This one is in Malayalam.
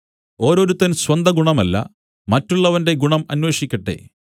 ഓരോരുത്തൻ സ്വന്തം ഗുണമല്ല മറ്റുള്ളവന്റെ ഗുണം അന്വേഷിക്കട്ടെ